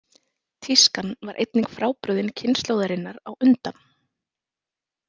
Tískan var einnig frábrugðin kynslóðarinnar á undan.